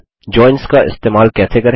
joins का इस्तेमाल कैसे करें